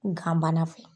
Gan bana fɛ